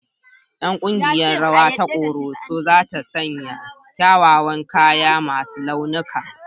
Ƴan ƙungiyar rawa ta Koroso za ta sanya kyawawan kaya masu launuka